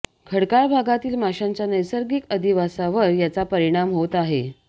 खडकाळ भागातील माशांच्या नैसर्गिक अधिवासावर याचा परिणाम होत आहे